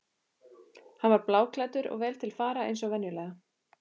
Hann var bláklæddur og vel til fara eins og venjulega.